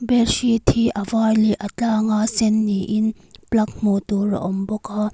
bed sheet hi a var leh a tlanga sen ni in plug hmuh tur a awm bawk a.